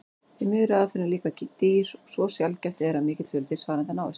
Því miður er aðferðin líka dýr svo sjaldgæft er að mikill fjöldi svarenda náist.